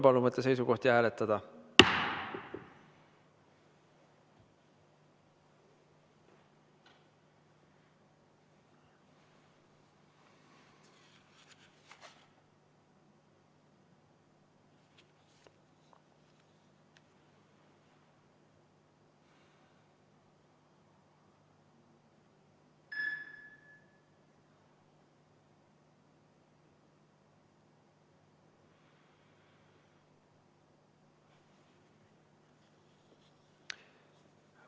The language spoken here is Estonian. Palun võtta seisukoht ja hääletada!